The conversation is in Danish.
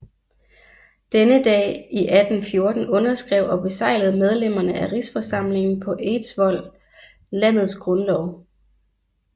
Denne dag i 1814 underskrev og beseglede medlemmerne af Rigsforsamlingen på Eidsvoll landets grundlov